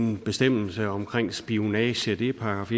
en bestemmelse om spionage det er §